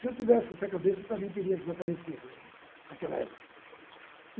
Se eu tivesse essa cabeça, eu também teria desaparecido, gente, naquela época.